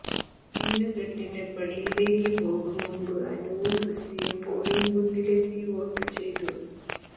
മിന്നുകെട്ടിന് പള്ളിയിലേക്ക് പോകും മുമ്പ് അനുവും ക്രിസ്റ്റിയും പോളിങ് ബൂത്തിലെത്തി വോട്ടു ചെയ്തു